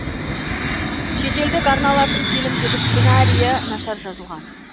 шетелдік арналардың фильмдегі сценариі нашар жазылған